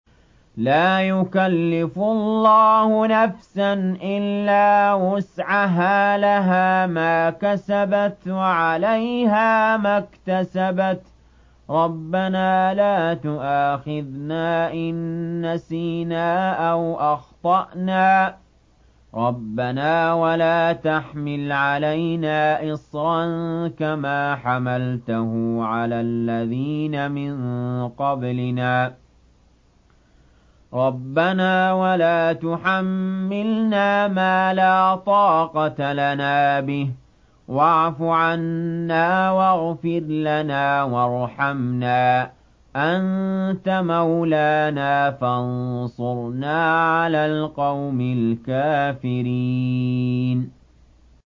لَا يُكَلِّفُ اللَّهُ نَفْسًا إِلَّا وُسْعَهَا ۚ لَهَا مَا كَسَبَتْ وَعَلَيْهَا مَا اكْتَسَبَتْ ۗ رَبَّنَا لَا تُؤَاخِذْنَا إِن نَّسِينَا أَوْ أَخْطَأْنَا ۚ رَبَّنَا وَلَا تَحْمِلْ عَلَيْنَا إِصْرًا كَمَا حَمَلْتَهُ عَلَى الَّذِينَ مِن قَبْلِنَا ۚ رَبَّنَا وَلَا تُحَمِّلْنَا مَا لَا طَاقَةَ لَنَا بِهِ ۖ وَاعْفُ عَنَّا وَاغْفِرْ لَنَا وَارْحَمْنَا ۚ أَنتَ مَوْلَانَا فَانصُرْنَا عَلَى الْقَوْمِ الْكَافِرِينَ